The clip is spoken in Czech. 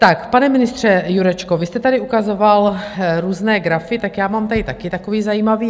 Tak pane ministře Jurečko, vy jste tady ukazoval různé grafy, tak já mám tady také takový zajímavý.